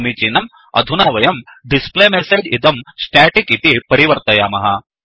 समीचीनम् अधुना वयं displayMessageडिस्प्ले मेसेज्इदंstaticस्टॆटिक् इति परिवर्तयामः